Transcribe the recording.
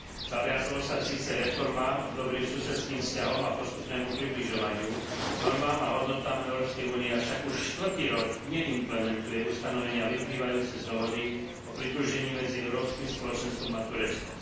Zaviazalo sa síce k reformám, dobrým susedským vzťahom a postupnému približovaniu normám a hodnotám Európskej únie, avšak už štvrtý rok neimplementuje ustanovenia vyplývajúce z Dohody o pridružení medzi Európskym spoločenstvom a Tureckom.